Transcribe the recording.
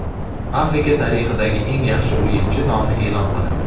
Afrika tarixidagi eng yaxshi o‘yinchi nomi e’lon qilindi.